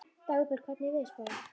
Dagbjörg, hvernig er veðurspáin?